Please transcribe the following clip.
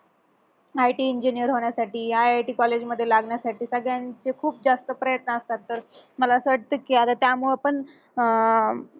IT engineer होण्यासाठी I, I, T college मध्ये लागण्यासाठी सगळ्यांचे खूप जास्त प्रयत्न असतात तर मला अस वाटत की आता त्यामुळं पण अह